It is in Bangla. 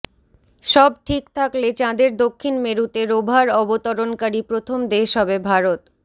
সব ঠিক থাকলে চাঁদের দক্ষিণ মেরুতে রোভার অবতরণকারী প্রথম দেশ হবে ভারত